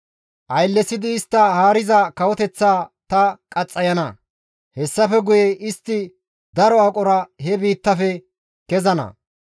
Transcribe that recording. Ayllesidi istta haariza kawoteththaa ta qaxxayana; hessafe guye istti daro aqora he biittaafe kezana.